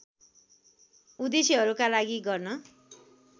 उद्देश्हरूका लागि गर्न